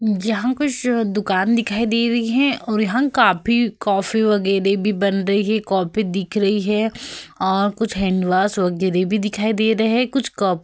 यहाँ कुछ दुकान दिखाई दे रही है और यहाँ काफी कॉफी वगेरे भी बन रहे है। कॉफी दिख रही है और कुछ हैंडवाश वगेरे भी दिखाई दे रहे है। कुछ काफ --